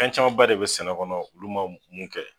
Fɛn camanba de bi sɛnɛ kɔnɔ olu ma mun kɛ.